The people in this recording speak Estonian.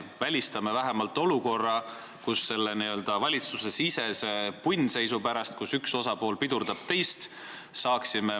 Me välistame nii vähemalt trahvid selle n-ö valitsusesisese punnseisu pärast, kus üks osapool pidurdab teist.